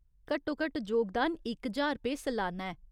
घट्टोघट्ट जोगदान इक ज्हार रुपेऽ सलाना ऐ।